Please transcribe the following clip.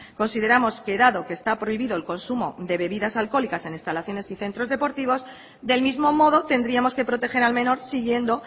consideramos que dado que está prohibido el consumo de bebidas alcohólicas en instalaciones y centros deportivos del mismo modo tendríamos que proteger al menor siguiendo